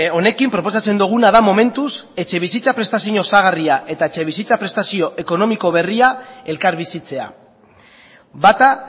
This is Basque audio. honekin proposatzen duguna da momentuz etxebizitza prestazio osagarria eta etxebizitza prestazio ekonomiko berria elkarbizitzea bata